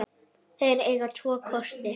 Þeir eiga tvo kosti.